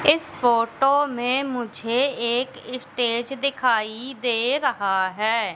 इस फोटो में मुझे एक स्टेज दिखाई दे रहा है।